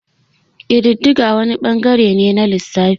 Kididdiga wani ɓangare ne na lissafi.